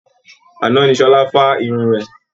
Àná ni Ṣọlá fá irun rẹ̀